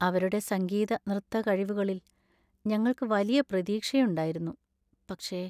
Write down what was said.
അവരുടെ സംഗീത നൃത്ത കഴിവുകളിൽ ഞങ്ങൾക്ക് വലിയ പ്രതീക്ഷയുണ്ടായിരുന്നു. പക്ഷെ!